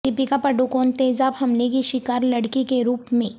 دپیکا پاڈوکون تیزاب حملے کی شکار لڑکی کے روپ میں